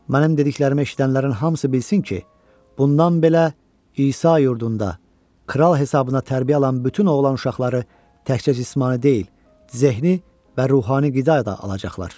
Mənim dediklərimi eşidənlərin hamısı bilsin ki, bundan belə İsa yurdunda kral hesabına tərbiyə alan bütün oğlan uşaqları təkcə cismani deyil, zehni və ruhani qida da alacaqlar.